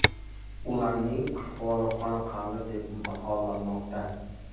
Ularning ahvoli qoniqarli deb baholanmoqda.